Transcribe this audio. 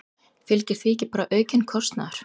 Fylgir því ekki bara aukinn kostnaður?